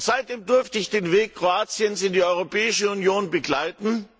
Seitdem durfte ich den Weg Kroatiens in die Europäische Union begleiten.